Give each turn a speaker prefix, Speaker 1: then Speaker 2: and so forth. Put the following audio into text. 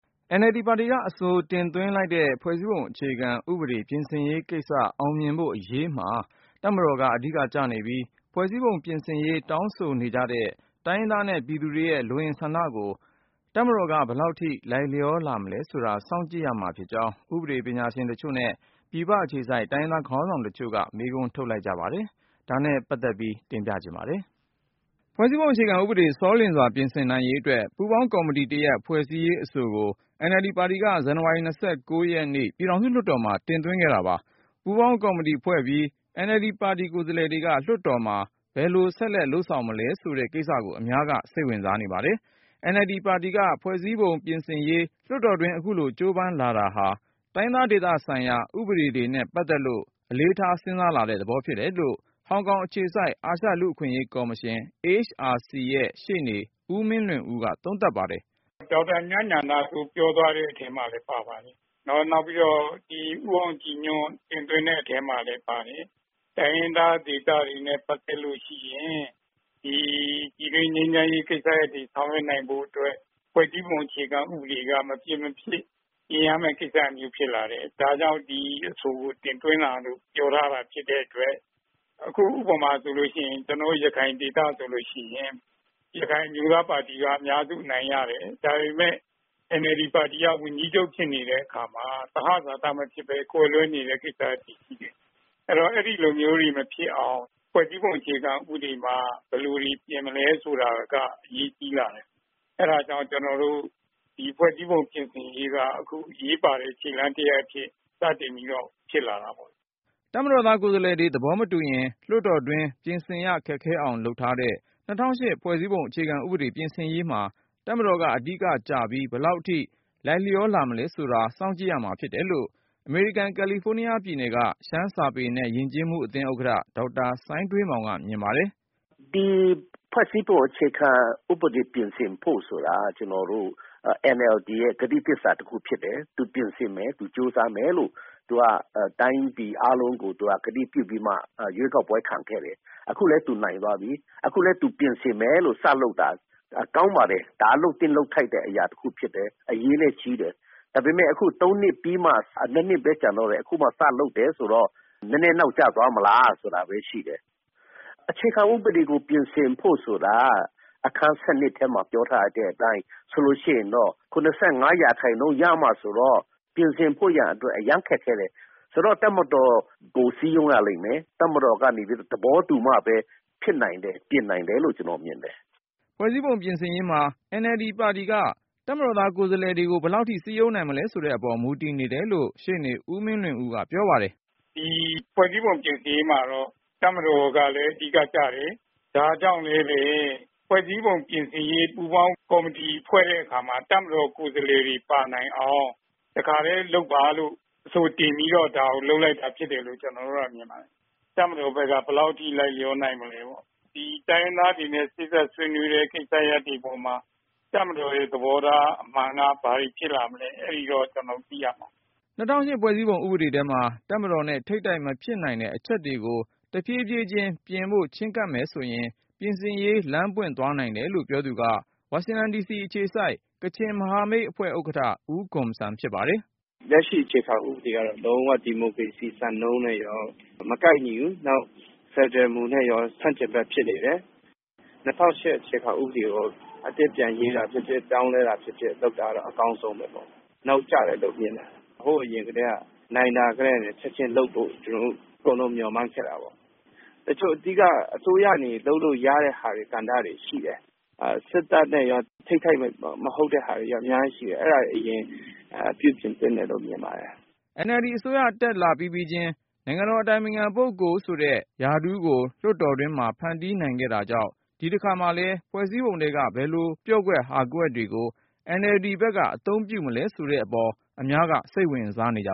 Speaker 1: NLD ပါတီက အဆိုတင်သွင်းလိုက်တဲ့ ဖွဲ့စည်းပုံအခြေခံဥပဒေ ပြင်ဆင်ရေးကိစ္စ အောင်မြင်ဖို့အရေးမှာ တပ်မတော်က အဓိကကျနေပြီး၊ ဖွဲ့စည်းပုံပြင်ရေး တောင်းဆိုနေကြတဲ့ တိုင်းရင်းသားနဲ့ ပြည်သူတွေရဲ့ လိုအင်ဆန္ဒတွေကို တပ်မတော်က ဘယ်လောက်အထိ လိုက်လျောလာ မလဲဆိုတာ စောင့်ကြည့်ရမှာ ဖြစ်ကြောင်း ဥပဒေပညာရှင်တချို့နဲ့ ပြည်ပအခြေစိုက် တိုင်းရင်းသားခေါင်းဆောင်တချို့က မေးခွန်းထုတ်လိုက် ကြပါတယ်။ ကိုဉာဏ်ဝင်းအောင်က စုစည်းတင်ပြထားပါတယ်။ ဖွဲ့စည်းပုံအခြေခံဥပဒေ ဆောလျင်စွာပြင်ဆင်နိုင်ရေးအတွက် ပူးပေါင်းကော်မတီတရပ် ဖွဲ့စည်းရေးအဆိုကို NLD ပါတီက ဇန်နဝါရီ ၂၉ ရက်နေ့ ပြည်ထောင်စုလွှတ်တော်မှာ တင်သွင်းခဲ့တာပါ။ ပူးပေါင်းကော်မတီဖွဲ့ပြီး NLD ပါတီကိုယ်စားလှယ်တွေက လွှတ်တော်မှာ ဘယ်လိုဆက်လုပ် သွားမလဲ ဆိုတဲ့ကိစ္စကို အများက စိတ်ဝင်စားနေကြပါတယ်။ NLD ပါတီက ဖွဲ့စည်းပုံပြင်ဆင်ရေး လွှတ်တော်တွင်း အခုလို ကြိုးပမ်းလာတာဟာ တိုင်းရင်းသားဒေသဆိုင်ရာ ဥပဒေတွေနဲ့ ပတ်သက်လို့ အလေးထား စဉ်းစားလာတဲ့သဘောဖြစ်တယ်လို့ ဟောင်ကောင်အခြေစိုက် အာရှလူ့အခွင့်အရေးကော်မရှင် AHRC ရဲ့ရှေ့နေ ဦးမင်းလွင်ဦးက သုံးသပ်ပါတယ်
Speaker 2: ။ " ဒေါက်တာ မြတ်ညဏစိုး ပြောသွားတဲ့ အထဲမှာလည်း ပါပါတယ်။ နောက် ဦးအောင်ကြည်ညွန့် တင်သွင်းတဲ့ အထဲမှာလည်း ပါတယ်။ တိုင်းရင်းသား ဒေသတွေနဲ့ ပတ်သက်လို့ ရှိရင် ဒီပြည်တွင်း ငြိမ်းချမ်းရေး ကိစ္စရပ်တွေ ဆောင်ရွက်နိုင်ဖို့ အတွက် ဖွဲ့စည်းပုံ အခြေခံ ဥပဒေက မပြင်မဖြစ် ပြင်ရမယ့် ကိစ္စမျိုး ဖြစ်လာတယ်။ ဒါကြောင့် ဒီအဆိုကို တင်သွင်းတာလို့ ပြောထားတာ ဖြစ်တဲ့ အတွက် အခု ဥပမာ ဆိုလို့ ရှိရင် ကျနော်တို့ ရခိုင်ဒေသဆိုလို့ ရှိရင် ရခိုင်အမျိုးသား ပါတီက အများစု အနိုင်ရတယ်။ ဒါပေမယ့် NLD ပါတီက ဝန်ကြီးချုပ် ဖြစ်နေတဲ့ အခါမှာ သဟဇာတ မဖြစ်ဘဲ ကွဲလွဲနေတဲ့ ကိစ္စရပ်တွေ ရှိတယ်။ အဲတော့ အဲဒီလိုမျိုးတွေ မဖြစ်အောင် ဖွဲ့စည်းပုံ အခြေခံ ဥပဒေမှာ ဘယ်လိုတွေ ပြင်မလဲ ဆိုတာက အရေးကြီးလာတယ်။ အဲဒါကြောင့် ကျနော်တို့ ဒီဖွဲ့စည်းပုံ ပြင်ဆင်ရေးက အခု အရေးပါတဲ့ ခြေလှမ်းတရပ် အဖြစ် စတင်ပြီးတော့ ဖြစ်လာတာပေါ့။
Speaker 1: " တပ်မတော်သားကိုယ်စားလှယ်တွေ သဘောမတူရင် လွှတ်တော်တွင်း ပြင်ဆင်ရခက်ခဲအောင်လုပ်ထားတဲ့ ၂၀၀၈ ဖွဲ့စည်းပုံအခြေခံဥပဒေ ပြင်ဆင်ရေးမှာ တပ်မတော်က အဓိကကျပြီး ဘယ်လောက်အထိ လိုက်လျောလာမလဲဆိုတာ စောင့်ကြည့်ရမှာဖြစ်တယ်လို့ အမေရိကန် ကယ်လီဖိုးနီးယားပြည်နယ်က ရှမ်းစာပေနဲ့ ယဉ်ကျေးမှုအသင်းဥက္ကဌ ဒေါက်တာ စိုင်းထွေးမောင်က မြင်ပါတယ်
Speaker 3: ။ " ဒီဖွဲ့စည်းပုံ အခြေခံ ဥပဒေ ပြင်ဆင်ဖို့ ဆိုတာ ကျနော်တို့ NLD ရဲ့ ကတိသစ္စာ တခုဖြစ်တယ်။ သူပြင်ဆင်မယ် သူကြိုးစားမယ်လို့ သူက တိုင်းပြည်အားလုံးကို ကတိပြုပြီးမှ ရွေးကောက်ပွဲခံခဲ့တယ်။ အခုလည်း သူနိုင်သွားပြီ။ အခုလည်း သူပြင်ဆင်မယ်လို့ စလုပ်တာ ကောင်းပါတယ်။ ဒါ လုပ်သင့် လုပ်ထိုက်တဲ့ အရာတခု ဖြစ်တယ်။ အရေးလည်း ကြီးတယ်။ ဒါပေမယ့် အခု သုံးနှစ် ပြီးမှ ၂ နှစ်ဘဲ ကျန်တော့တယ်။ အခုမှ စလုပ်တယ်ဆိုတော့ နည်းနည်း နောက်ကျသွားမလားဆိုတာဘဲ ရှိတယ်။ အခြေခံ ဥပဒေကို ပြင်ဆင်ဖို့ ဆိုတာ အခန်း ၁၂ ထဲမှာ ပြောထားတဲ့ အတိုင်း ဆိုလို့ ရှိရင်တော့ ၇၅ ရာခိုင်နှုန်း ရမှ ဆိုတော့ ပြင်ဆင်ဖို့ရန် အတွက် အရမ်း ခက်ခဲတယ်။ ဆိုတော့ တပ်မတော်ကို စည်းရုံးရလိမ့်မယ်။ တပ်မတော်ကနေ သဘောတူမှ ဖြစ်နိုင်တယ်၊ ပြင်နိုင်တယ်လို့ ကျနော် မြင်တယ်။
Speaker 1: " ဖွဲ့စည်းပုံပြင်ရေးမှာ NLD ပါတီက တပ်မတော်သားကိုယ်စားလှယ်တွေကို ဘယ်လောက်ထိ စည်းရုံးနိုင်မလဲဆိုတဲ့အပေါ် မူတည်တယ်လို့ ရှေ့နေ ဦးမင်းလွင်ဦးက ပြောပါတယ်
Speaker 3: ။ " ဒီ
Speaker 2: ဖွဲ့စည်းပုံ ပြင်ဆင်ရေးမှာတော့ တပ်မတော်ကလည်း အဓိက ကျတယ်။ ဒါကြောင့်လည်းဘဲ ဖွဲ့စည်းပုံ ပြင်ဆင်ရေး ပူးပေါင်း ကော်မတီဖွဲ့တဲ့ အခါမှာ တပ်မတော် ကိုယ်စားလှယ်တွေ ပါနိုင်အောင် တခါတည်း လုပ်ပါလို့ အဆိုတင်ပြီးတော့ ဒါကို လုပ်လိုက်တာ ဖြစ်တယ်လို့ ကျနော်တို့က မြင်ပါတယ်။ တပ်မတော်ဘက်က ဘယ်လောက်ထိ လိုက်လျော နိုင်မလဲပေါ့။ ဒီတိုင်းရင်းသားတွေနဲ့ စေ့စပ်ဆွေးနွေးတဲ့ ကိစ္စရပ်တွေ အပေါ်မှာ တပ်မတော်ရဲ့ သဘောထား အမှန်က ဘာတွေ ဖြစ်လာမလဲ အဲဒီတော့ ကျနော်တို့ သိရမှာပေါ့။
Speaker 1: " ၂၀၀၈ ဖွဲ့စည်းပုံဥပဒေထဲမှာ တပ်မတော်နဲ့ ထိပ်တိုက်မဖြစ်နိုင်တဲ့ အချက်တွေကို တဖြည်းဖြည်းချင်း ပြင်ဖို့ချဉ်းကပ်မယ်ဆိုရင် ပြင်ဆင်ရေး လမ်းပွင့်သွားနိုင်တယ်လို့ ပြောသူက ဝါရှင်တန်ဒီစီအခြေစိုက် ကချင်မဟာမိတ်အဖွဲ့ဥက္ကဌ ဦးဂွန်ဆမ်ဖြစ်ပါတယ်
Speaker 4: ။ " လက်ရှိ အခြေခံ ဥပဒေကတော့ လုံး၀ ဒီမိုကရေစီ စံနှုန်းနဲ့ရော မကိုက်ညီဘူး။ နောက် ဖယ်ဒရယ်မူနဲ့ ရော ဆန့်ကျင်ဘက် ဖြစ်နေတယ်။ ၂၀၀၈ အခြေခံ ဥပဒေကို အသစ်ပြန်ရေးတာ၊ ပြင်ဆင်ပြောင်းလဲတာ လုပ်တာ အကောင်းဆုံးပေါ့။ နောက်ကျတယ်လို့ မြင်တယ်။ ဟိုးအရင်ကတည်းက နိုင်တာ ကတည်းက လုပ်ဖို့ ကျနော်တို့ မျှော်မှန်းခဲ့တာပေါ့။ တချို့ အဓိက အစိုးရကနေ လုပ်လို့ရတဲ့ ကဏ္ဍတွေ ရှိတယ်။ စစ်တပ်နဲ့ရော ထိပ်တိုက် မဟုတ်တဲ့ဟာတွေ အများကြီး ရှိတယ်။ အဲဒါတွေ အရင်
Speaker 1: ပြင်သင့်တယ်လို့ မြင်ပါတယ်။ " NLD အစိုးရတက်လာပြီးပြီးချင်း နိုင်ငံတော်အတိုင်ပင်ခင်ပုဂ္ဂိုလ်ဆိုတဲ့ ရာထူးကို လွှွတ်တော်တွင်းမှာ ဖန်တီးနိုင်ခဲ့တာကြောင့် ဒီတခါမှာလည်း ဖွဲ့စည်းပုံထဲက ဘယ်လို ပျော့ကွက် ဟာကွက်တွေကို NLD ဘက်က အသုံးပြုမလဲဆိုတဲ့အပေါ် အများက စိတ်ဝင်စားနေကြ